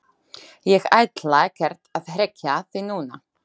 Ég ætla ekkert að hrekkja þig núna,